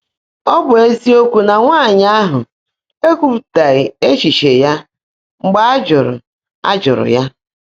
Ọ́ bụ́ ézíokwú ná nwáanyị́ áhụ́ ékwuúpụ́tághị́ échíché yá mgbe á jụ́rụ́ á jụ́rụ́ yá.